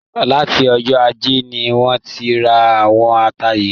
Láti ọjọ́ ajé ni wọ́n ti ra àwọn ata yìí